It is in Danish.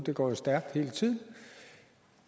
det går jo stærkt hele tiden